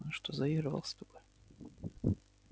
он что заигрывал с тобой